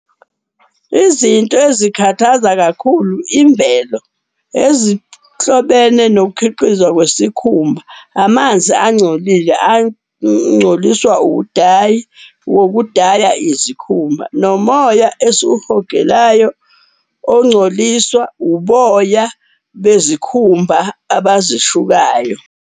Izinto ezikhathaza kakhulu imvelo ezihlobene nokukhiqizwa kwesikhumba. Amanzi angcolile angcoliswa udayi wokudaya izikhumba, nomoya esiwuhogelayo ongcoliswa uboya bezikhumba abazishukayo.